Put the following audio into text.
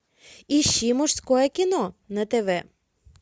ищи мужское кино на тв